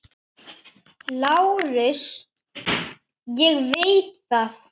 LÁRUS: Ég veit það.